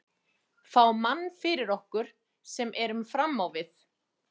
Fá mann fyrir okkur sem erum fram á við.